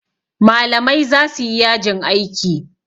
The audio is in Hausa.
malamai za su yi yajin aiki